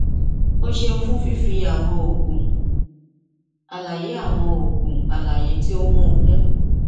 o ṣeun fun fifi awọn oogun alaye awọn oogun alaye ti o n mu kun